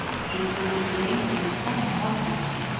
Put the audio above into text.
Engin lifir lengi við tóma moldarveggi.